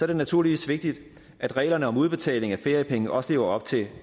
det naturligvis vigtigt at reglerne om udbetaling af feriepenge også lever op til